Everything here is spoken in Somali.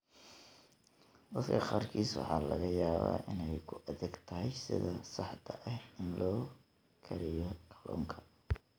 Dadka qaarkiis waxaa laga yaabaa inay ku adag tahay sida saxda ah ee loo kariyo kalluunka.